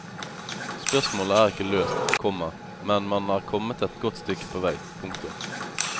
Spørsmålet er ikke løst, komma men man er kommet et godt stykke på vei. punktum